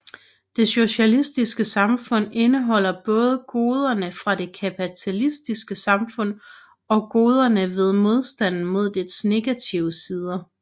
Det socialistiske samfund indeholder både goderne fra det kapitalistiske samfund og goderne ved modstanden mod dets negative sider